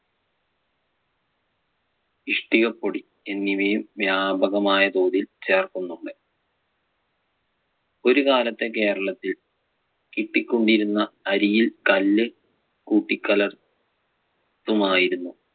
ഇഷ്ടികപ്പൊടി എന്നിവയും വ്യാപകമായ തോതിൽ ചേർക്കുന്നുണ്ട്. ഒരു കാലത്ത് കേരളത്തിൽ കിട്ടികൊണ്ടിരുന്ന അരിയിൽ കല്ല് കുട്ടികലർ~ ത്തുമായിരുന്നു.